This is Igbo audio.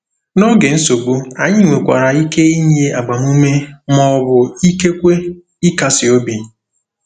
N'oge nsogbu, anyị nwekwara ike inye agbamume ma ọ bụ ikekwe ịkasi obi.